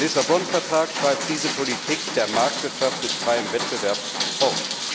Der Lissabon Vertrag schreibt diese Politik der Marktwirtschaft mit freiem Wettbewerb fort.